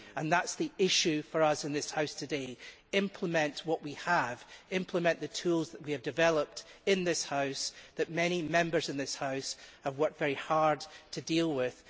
That is the issue for us in this House today implement what we have, implement the tools that we have developed in this House and that many Members in this House have worked very hard to deal with.